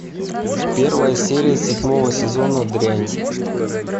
первая серия седьмого сезона дрянь